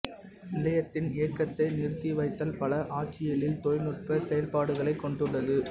நிலையத்தின் இயக்கத்தை நிறுத்திவைத்தல் பல ஆட்சியிய்ல் தொழில்நுட்பச் செயல்பாடுகலைக் கொண்டுள்ளது